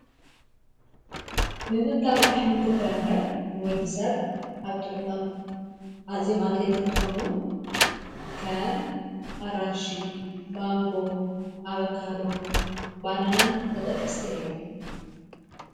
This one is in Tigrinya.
ምምቃብ ኣኅምልት ም ፍረምረን ንወዲ ሰብ ኣብ ጥዕ ኖም ኣዚዮም ኣድለይት እንተኾኑ ከም ኣራንሽ ማንጎ ኣበካዶ ባናናን ተጠቀስቲ እዮም።